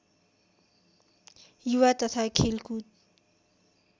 युवा तथा खेलकुद